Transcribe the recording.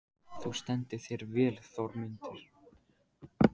Þú stendur þig vel, Þormundur!